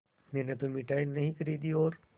मैंने तो मिठाई नहीं खरीदी और